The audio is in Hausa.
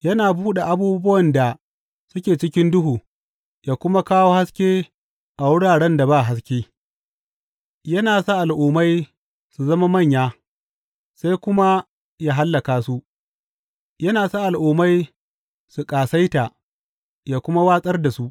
Yana buɗe abubuwan da suke cikin duhu yă kuma kawo haske a wuraren da ba haske; yana sa al’ummai su zama manya, sai kuma yă hallaka su; yana sa al’ummai su ƙasaita, yă kuma watsar da su.